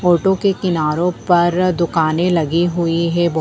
auto के किनारों पर दुकाने लगी हुई हैं बो--